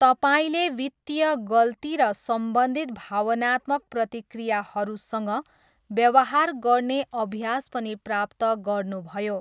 तपाईँले वित्तीय गल्ती र सम्बन्धित भावनात्मक प्रतिक्रियाहरूसँग व्यवहार गर्ने अभ्यास पनि प्राप्त गर्नुभयो।